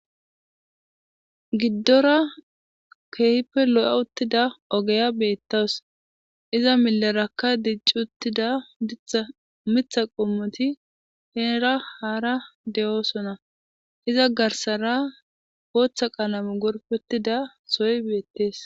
Giddora keehppe lo'a uttida ogeya beettas iza milerakka dicci uttida ditamitha qommoti heeera haara de'oosonna iza garsara gooththa qalame gorpettida soy beettees